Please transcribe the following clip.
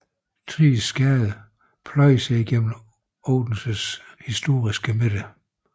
Thriges Gade pløjede sig igennem Odenses historiske midte